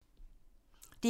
DR1